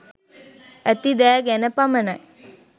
ඇති දෑ ගැන පමණයි.